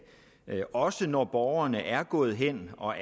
også når borgerne er gået hen og